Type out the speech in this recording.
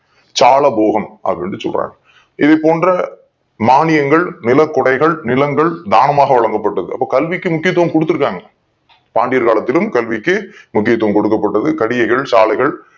சாலமோகம் அப்படின்னு சொல்றாங்க இது போன்ற மானியங்கள் நில குடைகள் நிலங்கள் தானமாக வழங்கப்பட்டது அப்ப கல்விக்கு முக்கியத்துவம் கொடுத் திருக்காங்க பாண்டியர் காலத்திலும் கல்விக்கு முக்கியத்துவம் கொடுக்கப் பட்டது கடிகைகள் சாலைகள்